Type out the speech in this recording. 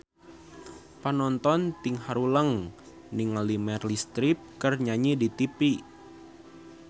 Panonton ting haruleng ningali Meryl Streep keur nyanyi di tipi